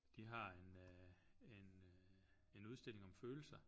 De har en en en udstilling om følelser